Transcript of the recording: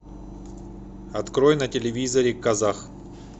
открой на телевизоре казах